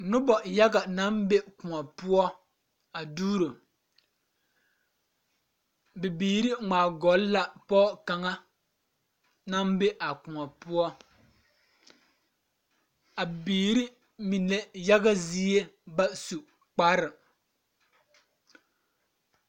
Nobɔ yaga naŋ be kõɔ poɔ a duuro bibiire ngmaagɔlle la pɔɔ kaŋa naŋ be a kõɔ poɔ a biire mine yaga zie ba su kpare.